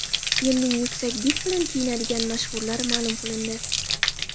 Yilning yuksak did bilan kiyinadigan mashhurlari ma’lum qilindi.